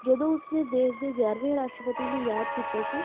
ਜਦੋਂ ਉਸਨੇ ਦੇਸ਼ ਦੇ ਗਿਆਰਵੇਂ ਰਾਸ਼ਟਰਪਤੀ ਨੂੰ ਯਾਦ ਕੀਤਾ ਸੀ